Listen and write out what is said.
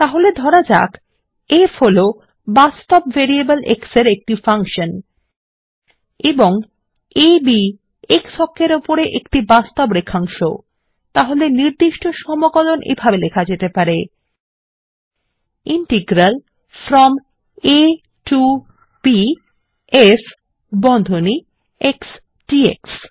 তাহলে ধরা যাক ফ হলো বাস্তব ভেরিয়েবল x এর একটি ফাংশন এবং আ b x অক্ষের ওপর একটি বাস্তব রেখাংশ তাহলে নির্দিষ্ট সমকলন এভাবে লেখা যেতে পারে160 integral from a to b f বন্ধনী x ডিএক্স